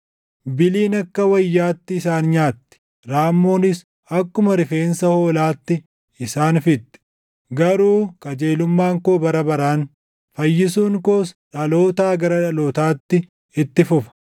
Biliin akka wayyaatti isaan nyaatti; raammoonis akkuma rifeensa hoolaatti isaan fixxi. Garuu qajeelummaan koo bara baraan, fayyisuun koos dhalootaa gara dhalootaatti itti fufa.”